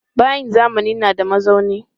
Bayin zamani na da mazauni.